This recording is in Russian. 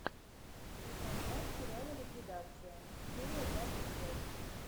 сезон два сериала ликвидация серия двадцать пять